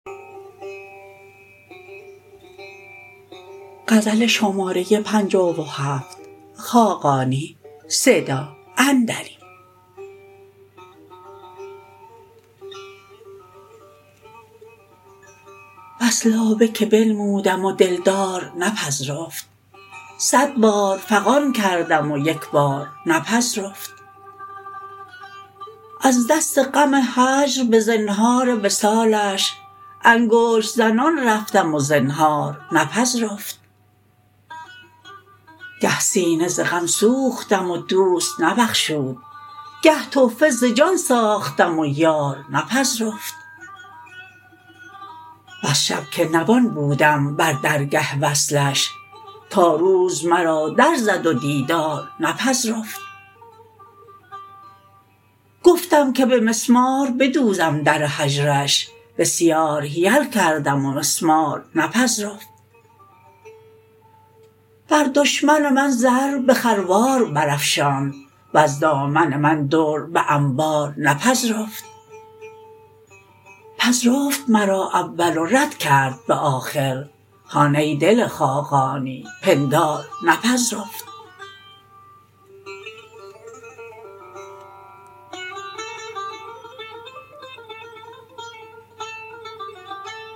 بس لابه که بنمودم و دل دار نپذرفت صد بار فغان کردم و یک بار نپذرفت از دست غم هجر به زنهار وصالش انگشت زنان رفتم و زنهار نپذرفت گه سینه ز غم سوختم و دوست نبخشود گه تحفه ز جان ساختم و یار نپذرفت بس شب که نوان بودم بر درگه وصلش تا روز مرا در زد و دیدار نپذرفت گفتم که به مسمار بدوزم در هجرش بسیار حیل کردم و مسمار نپذرفت بر دشمن من زر به خروار برافشاند وز دامن من در به انبار نپذرفت پذرفت مرا اول و رد کرد به آخر هان ای دل خاقانی پندار نپذرفت